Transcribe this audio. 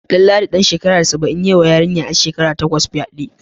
Danladi dan shekara saba'in ya yiwa yarinyar 'yar shekara takwas fyade.